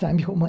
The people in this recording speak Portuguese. Sabe como é?